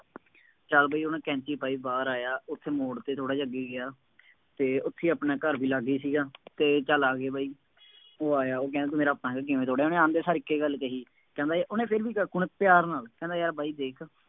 ਚੱਲ ਬਈ ਉਹਨੇ ਕੈਂਚੀ ਪਾਈ, ਬਾਹਰ ਆਇਆ, ਉੱਥੇ ਮੋੜ ਤੇ ਥੋੜ੍ਹਾ ਜਿਹਾ ਅੱਗੇ ਗਿਆ, ਫੇਰ ਉੱਥੇ ਹੀ ਆਪਣਾ ਘਰ ਵੀ ਲਾਗੇ ਸੀਗਾ ਅਤੇ ਚੱਲ ਆ ਗਏ ਬਾਈ, ਉਹ ਆਇਆ, ਉਹ ਕਹਿੰਦਾ ਤੂੰ ਮੇਰਾ ਪਤੰਗ ਕਿਵੇਂ ਤੋੜਿਆ, ਉਹਨੇ ਆਉਂਦੇ ਸਾਰ ਇੱਕ ਹੀ ਗੱਲ ਕਹੀ, ਕਹਿੰਦਾ ਬਈ, ਉਹਨੇ ਫਿਰ ਵੀ ਕਾਕੂ ਨੇ ਪਿਆਰ ਨਾਲ, ਕਹਿੰਦਾ ਯਾਰ ਬਾਈ ਦੇਖ